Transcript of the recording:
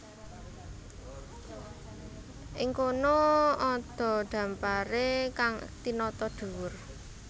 Ing kono ada dhamparé kang tinata dhuwur